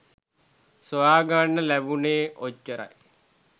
සොයාගන්න ලෑබුනෙ ඔච්චරයි